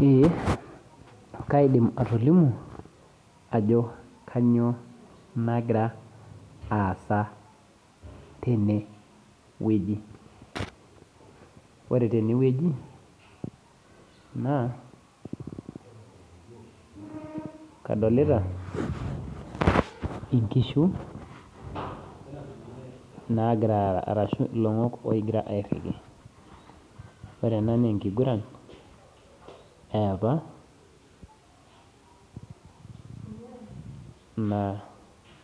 Eeh kaidim atolimu ajo kanyioo nagira aasa tene wueji ore tene wueji naa kadolita inkishu naagiraa aaraa ore ena naa enkigurana yaapa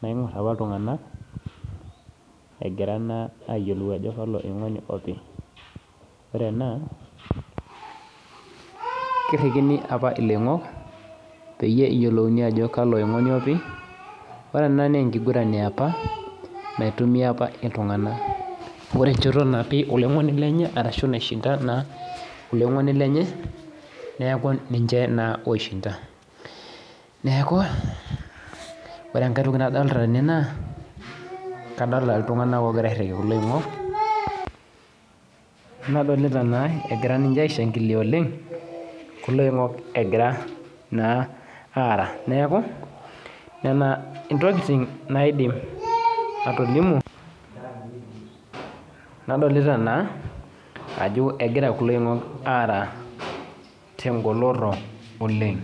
naing'or apaa iltung'anak egira ayiolou aajo kalo aingoni opi ore ena naa enkiguran yaapa ore enchoto naishinda oloing'oni lenye neeku ninche naa osihinda ore enkae toki nadolita tene naa nadolita naa egira aishannkilia oleng nena intokitin naidim atolimu ajo egira kulo oing'ok aara tenholoto oleng